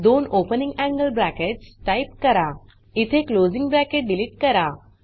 दोन opening angle brackets type करा इथे क्लोजिंग ब्रॅकेट डिलीट करा